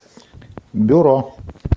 бюро